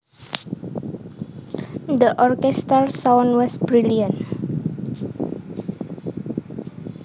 The orchestral sound was brilliant